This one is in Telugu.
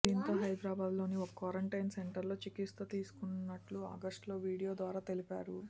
దీంతో హైదరాబాద్లోని ఓ క్వారంటైన్ సెంటర్లో చికిత్స తీసుకున్నట్లు ఆగస్టులో వీడియో ద్వారా తెలిపారు